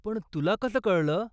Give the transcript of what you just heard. पण तुला कसं कळलं?